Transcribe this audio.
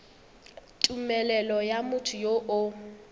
tumelelo ya motho yo o